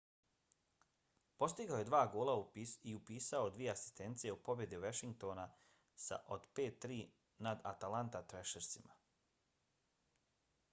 postigao je dva gola i upisao dvije asistencije u pobjedi washingtona od 5-3 nada atlanta thrashersima